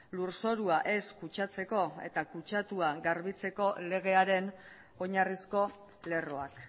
lurzorua ez kutsatzeko eta kutsatua garbitzeko legearen oinarrizko lerroak